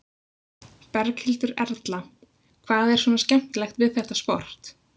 Berghildur Erla: Hvað er svona skemmtilegt við þetta sport?